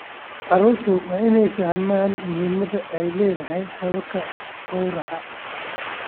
Carruurtu waa inay fahmaan muhimadda ay leedahay hababka gawraca.